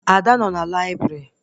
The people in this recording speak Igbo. Ada nọ na laibrị